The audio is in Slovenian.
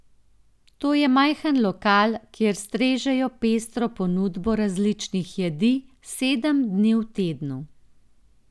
To je majhen lokal, kjer strežejo pestro ponudbo različnih jedi sedem dni v tednu.